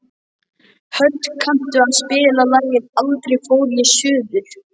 Hödd, kanntu að spila lagið „Aldrei fór ég suður“?